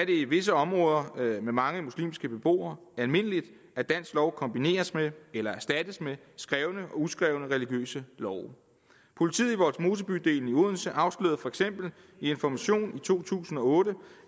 det i visse områder med mange muslimske beboere almindeligt at dansk lov kombineres med eller erstattes af skrevne og uskrevne religiøse love politiet i vollsmosebydelen i odense afslørede for eksempel i information i to tusind og otte